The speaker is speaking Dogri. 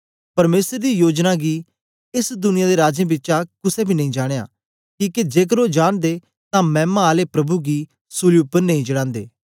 परमेसर दी जोयनां गीं एस दुनिया दे राजें बिचा कुसे बी नेई जानयां किके जेकर ओ जांनदे तां मैमा आले प्रभु गी सूली उपर नेई चढांदे